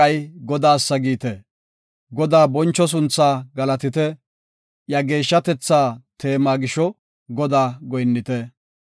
Godaa boncho sunthaa galatite; iya geeshshatetha teema gisho Godaa goyinnite.